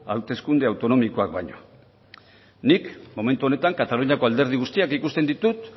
hauteskunde autonomikoak baino nik momentu honetan kataluniako alderdi guztiak ikusten ditut